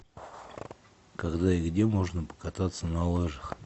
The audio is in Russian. когда и где можно покататься на лыжах